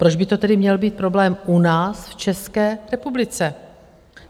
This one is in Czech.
Proč by to tedy měl být problém u nás v České republice?